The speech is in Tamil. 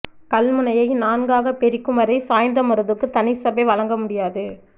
கல்முனையை நான்காகப் பிரிக்கும் வரை சாய்ந்தமருதுக்கு தனி சபை வழங்க முடியாது